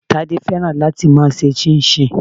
Tade fẹ́ràn láti máa ṣe chinchin.